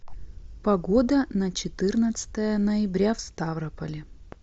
погода на четырнадцатое ноября в ставрополе